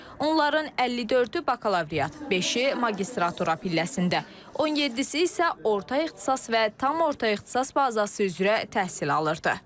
Onların 54-ü bakalavriat, beşi magistratura pilləsində, 17-si isə orta ixtisas və tam orta ixtisas bazası üzrə təhsil alırdı.